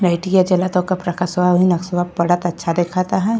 लाइटइया जलता ओक प्रकाशवा ओहि नक्सवा पड़ता। अच्छा देखात है।